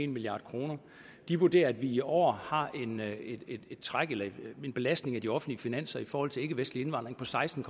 milliard kroner de vurderer at vi i år har en belastning af de offentlige finanser i forhold til ikkevestlig indvandring på seksten